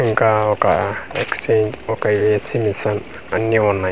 ఇంకా ఒక ఎక్స్చేంజ్ ఒక ఏసీ మిషన్ అన్నీ ఉన్నాయ్.